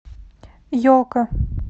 елка